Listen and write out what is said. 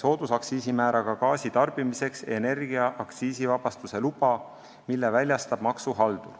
soodusaktsiisimääraga gaasi tarbimiseks energia aktsiisivabastuse luba, mille väljastab maksuhaldur.